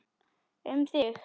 Um þig.